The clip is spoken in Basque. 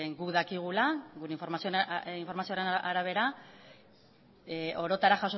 guk dakigula gure informazioen arabera orotara